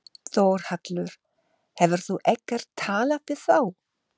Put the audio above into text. Þórhallur: Hefur þú ekkert talað við þá?